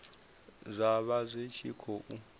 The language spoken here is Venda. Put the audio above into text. zwa vha zwi tshi khou